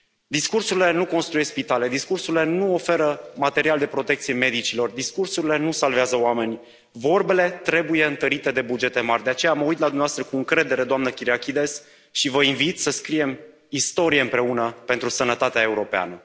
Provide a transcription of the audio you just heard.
Discursurile nu construiesc spitale, discursurile nu oferă material de protecție medicilor, discursurile nu salvează oameni, vorbele trebuie întărite de bugete mari. De aceea mă uit la dumneavoastră cu încredere, doamnă Kyriakides, și vă invit să scriem istorie împreună pentru sănătatea europeană.